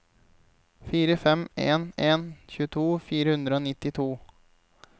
fire fem en en tjueto fire hundre og nittito